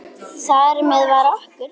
Þar með var okkur